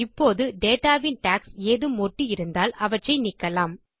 இப்போது டேட்டா வின் டாக்ஸ் ஏதும் ஒட்டி இருந்தால் அவற்றை நீக்கலாம்